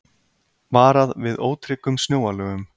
Varað við ótryggum snjóalögum